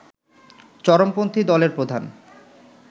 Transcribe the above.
চরমপন্থী দলের প্রধান